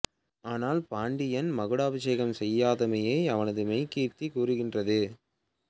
ஆனால் பாண்டியன் மகுடாபிஷேகம் செய்தமையை அவனது மெய் கீர்த்தி கூரூகின்றது